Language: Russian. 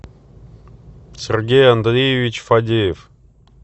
сергей андреевич фадеев